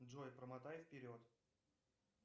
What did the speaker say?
джой промотай вперед